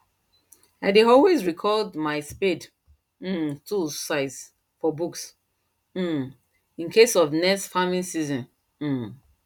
i dey always record my spade um tools size for book um incase of next farming season um